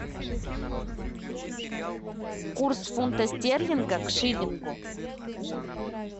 курс фунта стерлинга к шиллингу